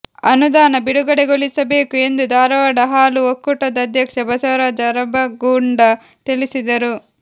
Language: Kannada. ಅನುದಾನ ಬಿಡುಗಡೆಗೊಳಿಸಬೇಕು ಎಂದು ಧಾರವಾಡ ಹಾಲು ಒಕ್ಕೂಟದ ಅಧ್ಯಕ್ಷ ಬಸವರಾಜ ಅರಬಗೊಂಡ ತಿಳಿಸಿದರು